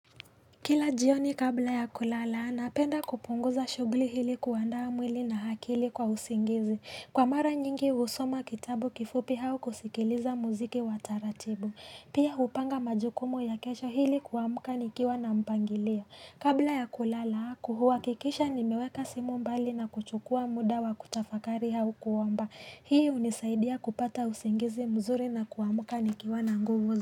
Kila jioni kabla ya kulala, napenda kupunguza shugli hili kuandaa mwili na hakili kwa usingizi. Kwa mara nyingi husoma kitabu kifupi hau kusikiliza muziki wataratibu. Pia hupanga majukumu ya kesho hili kuamuka nikiwa na mpangilio. Kabla ya kulala, kuhuwakikisha nimeweka simu mbali na kuchukua muda wa kutafakari hau kuomba. Hii unisaidia kupata usingizi mzuri na kuamuka nikiwa na nguvu.